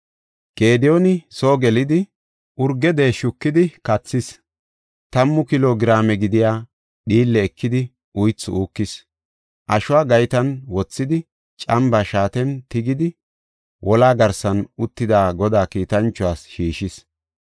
Gediyooni soo gelidi, urge deeshi shukidi kathis; tammu kilo giraame gidiya dhiille ekidi uythi uukis. Ashuwa gaytan wothidi, cambaa shaaten tigidi, wolaa garsan uttida Godaa kiitanchuwas shiishis.